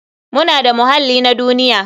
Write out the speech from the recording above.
Muna da muhallin na duniya.